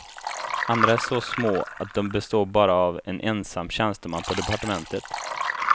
Andra är så små att de består av bara en ensam tjänsteman på departementet.